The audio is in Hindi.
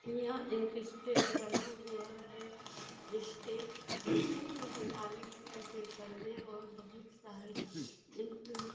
यहाँ एक स्टेज बना हुआ है स्टेज गुलाबी कलर के पर्दे और बहुत सारे --